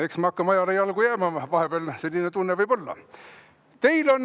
Eks me hakkame ajale jalgu jääma, vahepeal selline tunne võib olla.